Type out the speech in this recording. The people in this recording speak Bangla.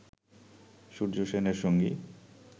সূর্য সেনের সঙ্গী